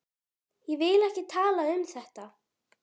Ég vil ekki tala um þetta.